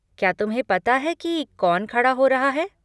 क्या तुम्हें पता है कि कौन खड़ा हो रहा है?